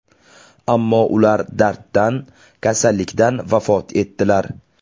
Ammo ular darddan, kasallikdan vafot etdilar.